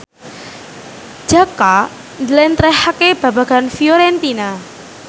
Jaka njlentrehake babagan Fiorentina